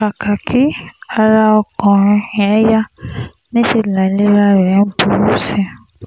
kàkà kí ara ọmọkùnrin yẹn yá níṣẹ́ láìlera rẹ̀ ń burú sí i